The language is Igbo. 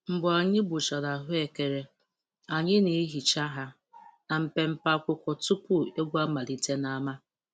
Mgbe anyị gbuchara ahụekere, anyị na-ehicha ha na mpempe akwụkwọ tupu egwu amalite n'ámá.